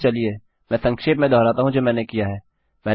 अतः चलिए मैं संक्षेप में दोहराता हूँ जो मैंने किया है